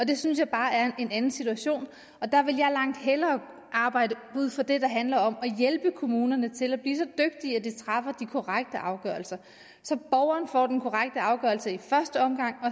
det synes jeg bare er en anden situation og der vil jeg langt hellere arbejde ud fra det der handler om at hjælpe kommunerne til at blive så dygtige at de træffer de korrekte afgørelser så borgeren får den korrekte afgørelse i første omgang